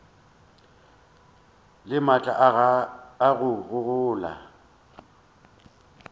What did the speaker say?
le maatla a go gola